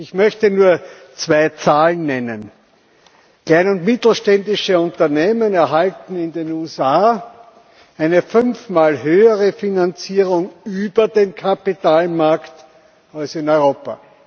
Ich möchte nur zwei Zahlen nennen Kleine und mittelständische Unternehmen erhalten in den USA eine fünfmal höhere Finanzierung über den Kapitalmarkt als in Europa.